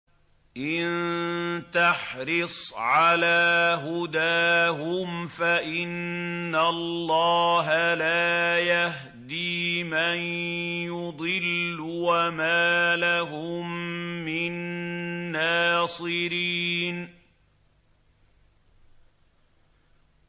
إِن تَحْرِصْ عَلَىٰ هُدَاهُمْ فَإِنَّ اللَّهَ لَا يَهْدِي مَن يُضِلُّ ۖ وَمَا لَهُم مِّن نَّاصِرِينَ